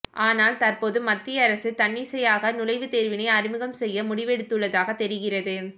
ஆனால் தற்போது மத்திய அரசு தன்னிச்சையாக நுழைவு தேர்வினை அறிமுகம் செய்ய முடிவெடுத்துள்ளதாக தெரிகிறது